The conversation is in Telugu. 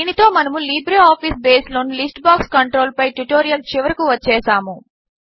దీనితో మనము లిబ్రేఆఫీస్ బేస్ లోని లిస్ట్ బాక్స్ కంట్రోల్ పై ట్యుటోరియల్ చివరకు వచ్చేసాము